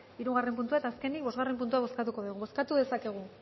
hirugarren puntua eta azkenik bosgarren puntua bozkatuko dugu bozkatu dezakegu